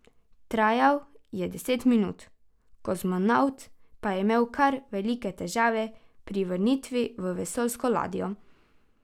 Trajal je deset minut, kozmonavt pa je imel kar velike težave pri vrnitvi v vesoljsko ladjo.